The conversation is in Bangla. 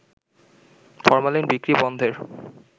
ফরমালিন বিক্রি বন্ধের